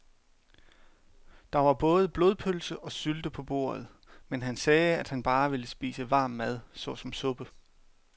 Der var både blodpølse og sylte på bordet, men han sagde, at han bare ville spise varm mad såsom suppe.